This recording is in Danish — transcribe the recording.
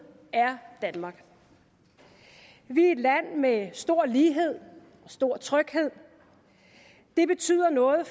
er danmark vi er et land med stor lighed og stor tryghed det betyder noget